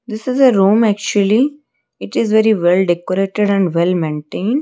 this is a room actually it is very well decorated and well maintain.